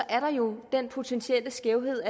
er der jo en potentiel skævhed